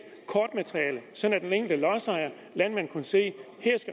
kortmateriale sådan at den enkelte landmand kunne se